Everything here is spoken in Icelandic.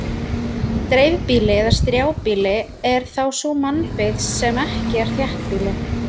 Dreifbýli eða strjálbýli er þá sú mannabyggð sem ekki er þéttbýli.